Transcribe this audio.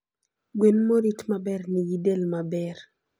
Gwen morit maber nigi del maber.